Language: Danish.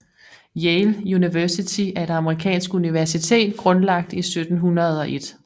Yale University er et amerikansk universitet grundlagt i 1701